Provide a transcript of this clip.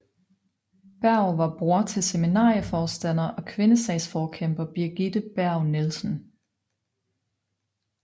Berg var bror til seminarieforstander og kvindesagsforkæmper Birgitte Berg Nielsen